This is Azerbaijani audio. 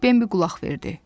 Bembi qulaq verdi.